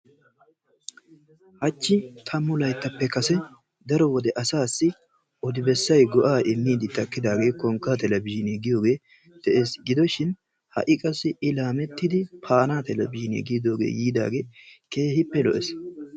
hachchi tammu layittappe kase daro wode asaassi odobessay go'aa immiiddi takkidaagee konkkaa telebzhiine giidooge da'ees. gidoshin ha"i qassi i laamettidi paana telebzhiine giidoogee yiidaagee keehippe lo'ees.